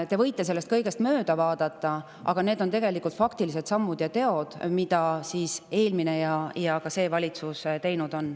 Te võite sellest kõigest mööda vaadata, aga need on faktilised sammud ja teod, mida eelmine ja ka see valitsus on teinud.